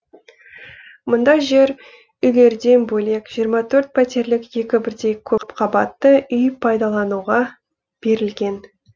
мұнда жер үйлерден бөлек жиырма төрт пәтерлік екі бірдей көпқабатты үй пайдалануға берілген